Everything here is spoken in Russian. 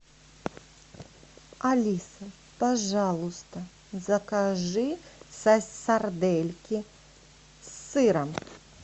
алиса пожалуйста закажи сардельки с сыром